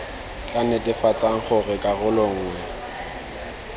tla netefatsang gore karolo nngwe